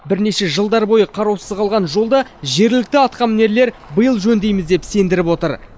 бірнеше жылдар бойы қараусыз қалған жолды жергілікті атқамінерлер биыл жөндейміз деп сендіріп отыр